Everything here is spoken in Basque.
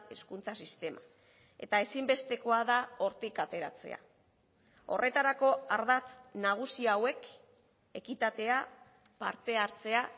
hezkuntza sistema eta ezinbestekoa da hortik ateratzea horretarako ardatz nagusi hauek ekitatea parte hartzea